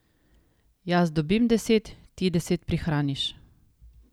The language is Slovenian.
Jaz dobim deset, ti deset prihraniš!